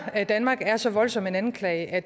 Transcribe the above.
danmark er så voldsom en anklage at